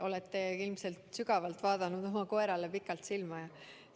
Olete ilmselt sügavalt ja pikalt oma koerale silma vaadanud.